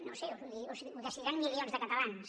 no ho sé ho decidiran milions de catalans